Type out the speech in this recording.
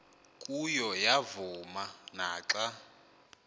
kuyo yavuma naxa